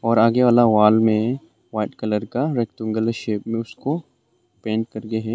और आगे वाला वाल में वाइट कलर का रैक्टेंगुलर शेप में उसको पेंट करके है।